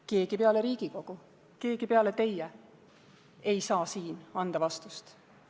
Keegi peale Riigikogu, keegi peale teie ei saa siin anda vastust.